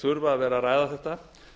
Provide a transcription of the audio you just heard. þurfa að vera að ræða þetta